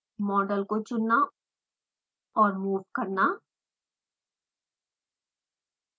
model को चुनना और मूव करना